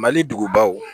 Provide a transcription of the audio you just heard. Mali dugubaw